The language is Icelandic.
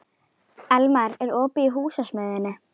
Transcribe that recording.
Elmar, er opið í Húsasmiðjunni?